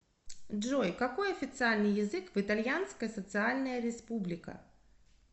джой какой официальный язык в итальянская социальная республика